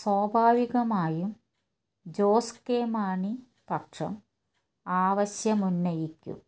സ്വാഭാവികമായും ജോസ് കെ മാണി പക്ഷം ആവശ്യമുന്നയിക്കും